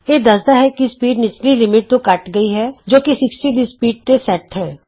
ਇਹ ਦੱਸਦਾ ਹੈ ਕਿ ਸਪੀਡ ਨਿਚਲੀ ਲਿਮਿਟ ਤੋਂ ਘੱਟ ਗਈ ਹੈ ਜੋ ਕਿ 60 ਦੀ ਸਪੀਡ ਤੇ ਸੈਟ ਹੈ